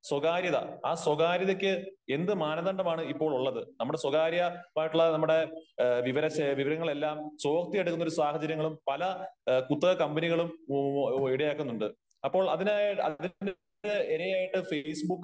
സ്വകാര്യത ആ സ്വകാര്യതയ്ക്ക് എന്ത് മാനദണ്ഡമാണ് ഇപ്പോൾ ഉള്ളത് ? നമ്മുടെ സ്വകാര്യമായിട്ടുള്ള നമ്മുടെ വിവരങ്ങൾ എല്ലാം കോപ്പി എടുക്കുന്നഒരു സാഹചര്യങ്ങളും പല കുത്തക കമ്പനികളും ഇടയാക്കുന്നുണ്ട്. അപ്പോൾ അതിനാ അതിന് ഇരയായിട്ട് ഫേസ്ബുക്ക്